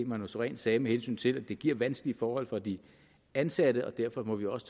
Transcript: manu sareen sagde med hensyn til at det giver vanskelige forhold for de ansatte og derfor må vi også